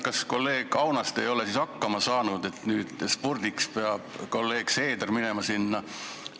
Kas kolleeg Aunaste ei ole siis hakkama saanud, et nüüd spurdiks peab kolleeg Seeder sinna minema?